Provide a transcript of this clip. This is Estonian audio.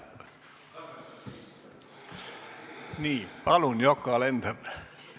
Nii, palun, Yoko Alender!